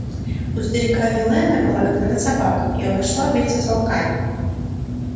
у старика виллэна была когда-то собака и она ушла вместе с волками